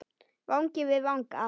Vangi við vanga.